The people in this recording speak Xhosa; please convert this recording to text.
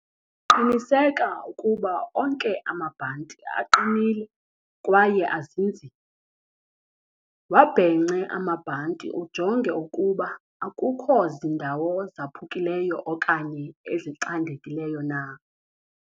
Qiniseka ukuba onke amabhanti aqinile kwaye azinzile. Wabhence amabhanti ujonge ukuba akukho zindawo zaphukileyo okanye ezicandekileyo na.